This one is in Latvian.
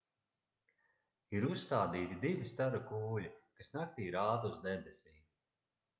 ir uzstādīti divi staru kūļi kas naktī rāda uz debesīm